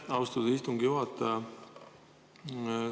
Aitäh, austatud istungi juhataja!